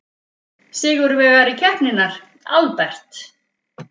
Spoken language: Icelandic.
Sigurvegari keppninnar, Albert